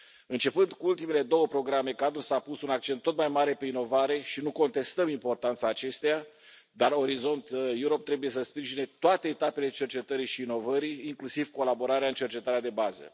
Începând cu ultimele două programe cadru, s a pus un accent tot mai mare pe inovare și nu contestăm importanța acesteia dar Orizont Europa trebuie să sprijine toate etapele cercetării și inovării, inclusiv colaborarea în cercetarea de bază.